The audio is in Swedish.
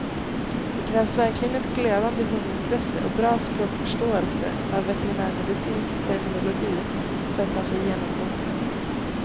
Det krävs verkligen ett glödande hundintresse och bra språkförståelse av veterinärmedicinsk terminologi för att ta sig igenom boken.